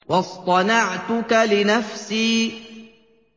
وَاصْطَنَعْتُكَ لِنَفْسِي